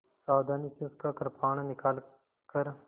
सावधानी से उसका कृपाण निकालकर